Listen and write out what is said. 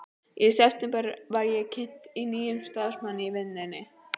Í september var ég kynnt fyrir nýjum starfsmanni í vinnunni.